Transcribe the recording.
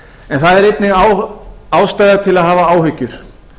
en það er einnig ástæða til að hafa áhyggjur